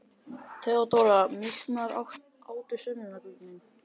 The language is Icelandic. THEODÓRA: Mýsnar átu sönnunargögnin.